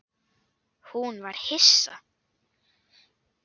Hún var hissa.